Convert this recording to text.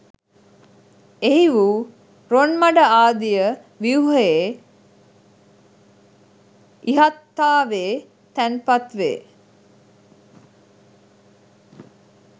එහි වූ රොන්මඩ ආදිය ව්‍යුහයේ ඉහත්තාවේ තැන්පත් වේ.